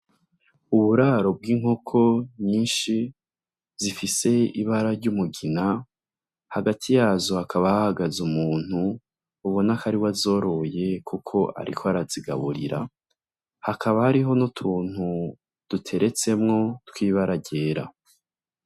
Uburaro bw'inkoko nyinshi zifise ibara ry'umugina, hagati yazo hakaba hahagaze umuntu ubona ko ariwe azoroye kuko ariko arazigaburira, hakaba hariho n'utuntu duteretsemwo tw'ibara ryera.